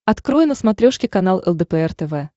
открой на смотрешке канал лдпр тв